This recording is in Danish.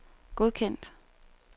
godkendt